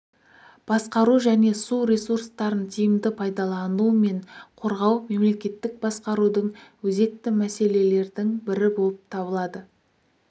басқару және су ресурстарын тиімді пайдалану мен қорғау мемлекеттік басқарудың өзекті мәселелердің бірі болып табылады